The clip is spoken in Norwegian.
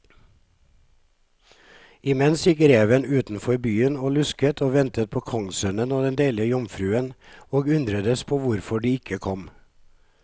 Imens gikk reven utenfor byen og lusket og ventet på kongssønnen og den deilige jomfruen, og undredes på hvorfor de ikke kom.